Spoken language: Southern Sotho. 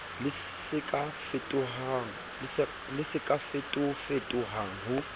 le se ka fetofetohang ho